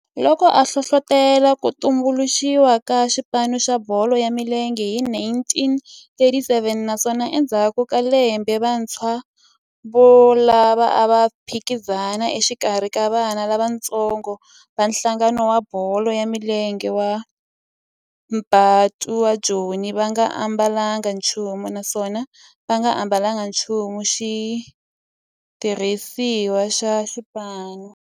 Loko a hlohlotela ku tumbuluxiwa ka xipano xa bolo ya milenge hi 1937 naswona endzhaku ka lembe vantshwa volavo a va phikizana exikarhi ka vana lavatsongo va nhlangano wa bolo ya milenge wa Bantu wa Joni va nga ambalanga nchumu naswona va nga ambalanga nchumu xitirhisiwa xa xipano.